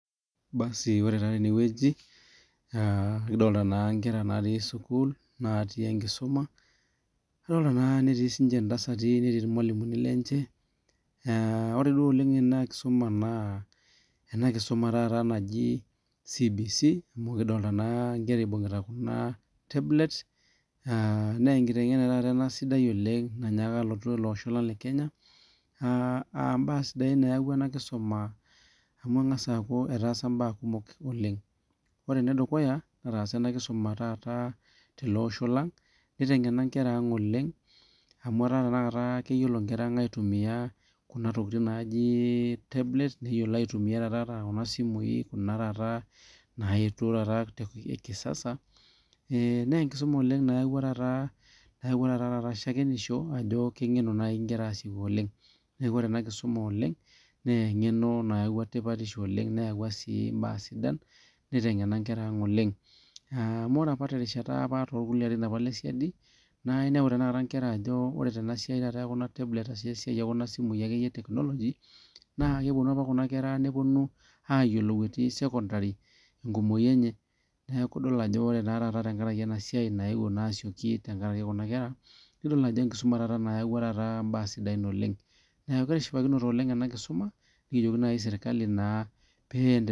basi ore naa tene wueji kidolita naa Nkera natii sukuul natii tenkisuma adolitaa naa netii sininche ntasati netii sininye irmalimuni lenyeore duo oleng ena nkisuma naa ena naaji CBC amu kidolita naa Nkera ebung'ita Kuna tablets naa enkiteng'ena taata ena sidai oleng nanyaaka alotu ele Osho lang le Kenya aa mbaa sidai eyaua ena kisuma amu keng'as aku etaasa mbaa kumok oleng ore ene dukuya netaasa ena kisuma tele Osho lang nitngena nkera ang oleng amu etaa tanakata keyiolo Nkera ang aitumia Kuna tokitin naaji tablets neyiolou aitumia taata ata Kuna simui Kuna taata nayetuo kisasa naa tenkisuma nayeuo taata shakenisho Ajo kengenu enkara asikoki oleng neeku ore ena kisuma naa ng'eno nayawua tipatisho oleng neyaua sii mbaa sidan nitngena nkera ang oleng amu ore apa terishata olarin lee sidai naa enepu enkera Tena siai ekuna tablets arashu Tena siai ekuna simui akeyie ee etekinoloji naa kepuonu ake Kuna kera nepuonu ayiolou atii sekondari tenkumoki enye neeku edol Ajo ore taata tenkaraki ena siai nayeuo asikoki tenkaraki Kuna kera nidol Ajo enkusuma nayaua mbaa sidain taata oleng neeku kitishipakinote oleng ena kisuma nikijoki naaji sirkali pee endelea